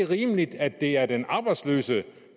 rimeligt at det er den arbejdsløse